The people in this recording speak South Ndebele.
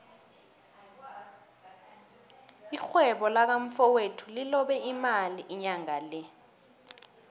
irhwebo laka mfowethu lilobe imali inyangale